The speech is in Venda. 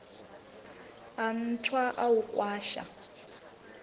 a nthwa u a kwasha